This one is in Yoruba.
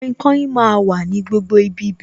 Kainkain máa wà ní gbogbo ibi bẹ̀